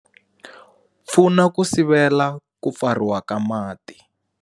Pfuna ku sivela Ku Pfariwa ka Mati.